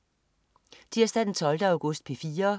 Tirsdag den 12. august - P4: